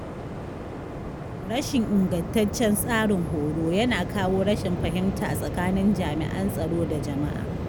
Rashin ingantaccen tsarin horo yana kawo rashin fahimta tsakanin jami’an tsaro da jama’a.